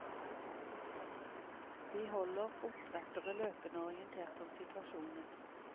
Vi holder oppdrettere løpende orientert om situasjonen.